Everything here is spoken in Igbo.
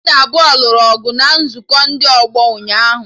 Mmadụ abụọ nụrụ ọgụ na nzukọ ndị ọgbọ ụnyaahụ